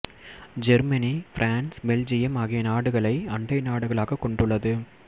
Germany France Belgium ஆகிய நாடுகளை அண்டை நாடுகளாக கொண்டுள்ளது